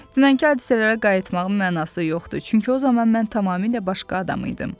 Dünənki hadisələrə qayıtmağın mənası yoxdur, çünki o zaman mən tamamilə başqa adam idim.